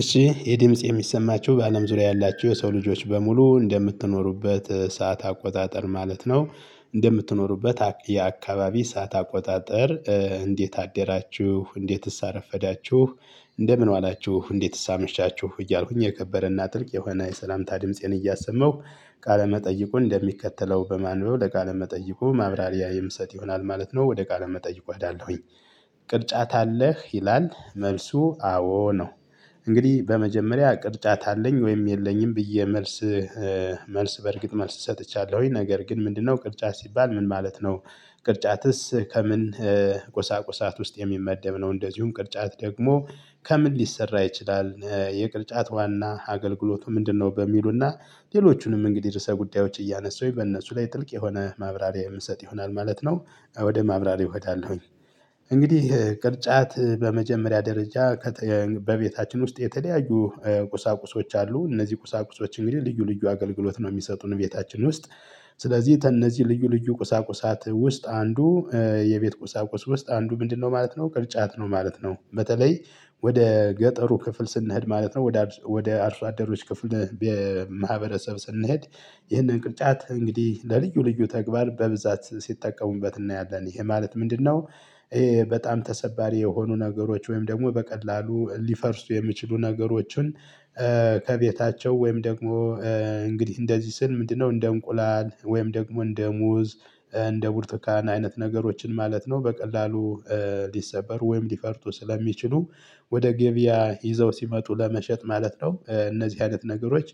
እሺ የድምጽ የሚሰማችሁ በአለም ዙሪያ ያላችሁ የሰው ልጆች በሙሉ እንደምትኖሩበት ሰዓት አቆጣጠር ማለት ነው። እንደምትኖሩበት የአካባቢ ሰዓት አቆጣጠር እንዴት አደራችሁ እንዴትስ አረፈዳችሁ? እንደምን ዋላችሁ እንዴትስ አመሻቻችሁ እያልኩኝ የከበረና ጥልቅ የሆነ የሰላምታ ድምፄን እያሰመሁ። ቃለ መጠይቁን እንደሚከተለው በማንበው ለቃለ መጠይቁ ማብራሪያ ሚሰጥ ይሆናል ማለት ነው ወደ ቃለ መጠይቅ እሄዳለሁኝ። ቅርጫት አለህ ይላል መልሱ አዎ ነው። እንግዲህ በመጀመሪያ ቅርጫት አለኝ ወይም የለኝም ብዬ መልስ። መልስ በእርግጥ መልስ ሰጥቻለሁኝ ነገር ግን ምንድነው ቅርጫት ሲባል ምን ማለት ነው? ቅርጫትስ ከምን? ቆሳቆሳት ውስጥ የሚመደብ ነው? እንደዚሁም ቅርጫት ደግሞ ከምን ሊሰራ ይችላል የቅርጫት ዋና አገልግሎቱ ምንድነው? በሚሉና ሌሎቹንም እንግዲህ ርዕሰ ጉዳዮች እያነሱኝ በእነሱ ላይ ጥልቅ የሆነ ማብራሪያ የሚሰጥ ይሆናል ማለት ነው። ወደ ማብራሪያ እሄዳለሁኝ። እንግዲህ ቅርጫት በመጀመሪያ ደረጃ። በቤታችን ውስጥ የተለያዩ ቁሳቁሶች አሉ እነዚህ ቁሳቁሶች እንግዲህ ልዩ ልዩ አገልግሎት ነው የሚሰጡን ቤታችን ውስጥ። ስለዚህ እነዚህ ልዩ ልዩ ቁሳቁሳት ውስጥ አንዱ። የቤት ቁሳቁስ ውስጥ አንዱ ምንድነው ማለት ነው ቅርጫት ነው ማለት ነው። በተለይ ወደ ገጠሩ ክፍል ስንሄድ ማለት ነው ወደ አርሶአደሮች ክፍል በማህበረሰብ ስንሄድ። ይህንን ቅርጫት እንግዲህ ለልዩ ልዩ ተግባር በብዛት ሲጠቀሙበት እናያለን ይሄ ማለት ምንድነው? ይሄ በጣም ተሰባሪ የሆኑ ነገሮች ወይም ደግሞ በቀላሉ ሊፈርሱ የሚችሉ ነገሮችን። ከቤታቸው ወይም ደግሞ እንግዲህ እንደዚህ ስል ምንድነው እንደ እንቁላል ወይም ደግሞ እንደ ሙዝ። እንደ ቡርተካን አይነት ነገሮችን ማለት ነው። በቀላሉ ሊሰበር ወይም ሊፈርቱ ስለሚችሉ ወደ ገበያ ይዘው ሲመጡ ለመሸጥ ማለት ነው። እነዚህ አይነት ነገሮች።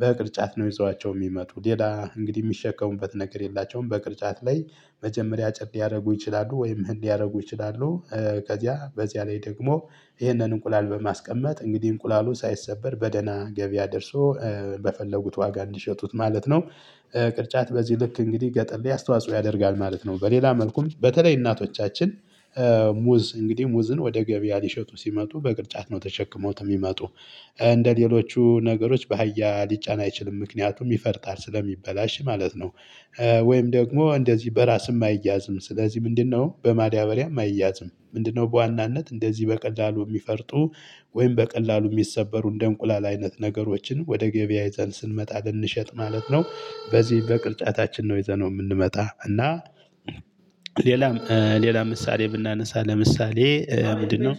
በቅርጫት ነው ይዘዋቸው የሚመጡ ሌላ እንግዲህ የሚሸከሙበት ነገር የላቸውም። በቅርጫት ላይ መጀመሪያ ጭቅ ሊያደርጉ ይችላሉ ወይም ምን ያደርጉ ይችላሉ? ከዚያ በዚያ ላይ ደግሞ ይህንን እንቁላል በማስቀመጥ እንግዲህ እንቁላሉ ሳይሰበር በደህና ገበያ ደርሶ። በፈለጉት ዋጋ እንዲሸጡት ማለት ነው። ቅርጫት በዚህ ልክ እንግዲህ ገጠል አስተዋጽኦ ያደርጋል ማለት ነው። በሌላ መልኩም በተለይ እናቶቻችን ሙዝ እንግዲህ ሙዝን ወደ ገበያ ሊሸጡ ሲመጡ በቅርጫት ነው ተሸክመውት የሚመጡ። እንደሌሎቹ ነገሮች በሃያ ሊጫን አይችልም ምክንያቱም ይፈርታል ስለሚበላሽ ማለት ነው። ወይም ደግሞ እንደዚህ በራስም አይያዝም ስለዚህ ምንድነው በማዳበሪያም አይያትም ምንድነው በዋናነት እንደዚህ በቀላሉ የሚፈርጡ። ወይም በቀላሉ የሚሰበሩ እንደ እንቁላል አይነት ነገሮችን ወደ ገበያ ይዘን ስንመጣ ልንሸጥ ማለት ነው። በዚህ በቅርጫታችን ነውይየዘነው የምንመጣ እና። ሌላም ምሳሌ ብናነሳ ለምሳሌ ምንድነው?